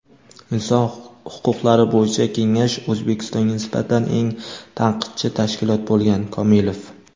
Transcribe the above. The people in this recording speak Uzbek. Inson huquqlari bo‘yicha kengash O‘zbekistonga nisbatan eng tanqidchi tashkilot bo‘lgan – Komilov.